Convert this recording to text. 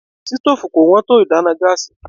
Sítófù kò wón tó ìdáná gáásì.